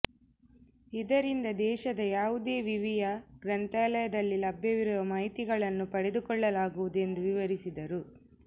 ಇದರಿಂದ ದೇಶದ ಯಾವುದೇ ವಿವಿಯ ಗ್ರಂಥಾಲಯದಲ್ಲಿ ಲಭ್ಯವಿರುವ ಮಾಹಿತಿಗಳನ್ನು ಪಡೆದುಕೊಳ್ಳಲಾಗುವುದು ಎಂದು ವಿವರಿಸಿದರು